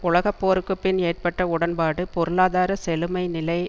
உலக போருக்கு பின் ஏற்பட்ட உடன்பாடு பொருளாதார செழுமை நிலை